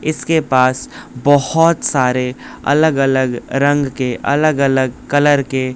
इसके पास बहुत सारे अलग अलग रंग के अलग अलग कलर के--